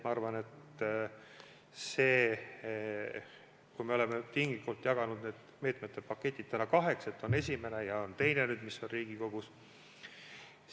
Ma arvan, et kui me oleme tinglikult jaganud need meetmepaketid kaheks, siis on olnud esimene pakett ja teine on see, mis on nüüd Riigikogus.